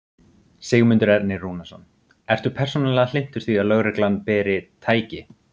Sigmundur Ernir Rúnarsson: Ertu persónulega hlynntur því að lögreglan beri. tæki?